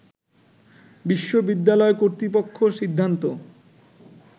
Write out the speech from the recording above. বিশ্ববিদ্যালয় কর্তৃপক্ষ সিদ্ধান্ত